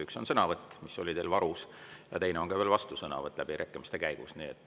Üks on sõnavõtt, mis oli teil varus, ja teine on vastusõnavõtt läbirääkimiste käigus.